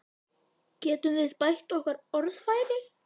Getum við bætt okkar orðfæri?